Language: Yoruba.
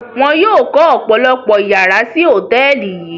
Wọ́n yóò kọ́ ọ̀pọ̀lọpọ̀ ìyàrá sí hòtẹ́ẹ́lì yíì.